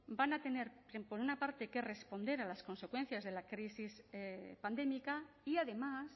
van a tener que por una parte que responder a las consecuencias de la crisis pandémica y además